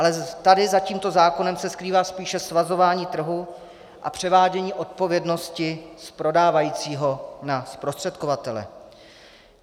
Ale tady za tímto zákonem se skrývá spíše svazování trhu a převádění odpovědnosti z prodávajícího na zprostředkovatele.